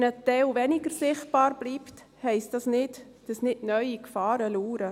Wenn ein Teil weniger sichtbar bleibt, heisst dies nicht, dass nicht neue Gefahren lauern.